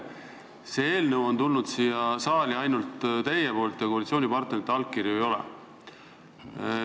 See eelnõu on tulnud siia saali ainult teilt, koalitsioonipartnerite allkirju siin ei ole.